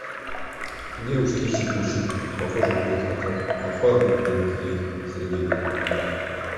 девушки ищут мужчин похожих на их отцов а парни на матерей сергей безруков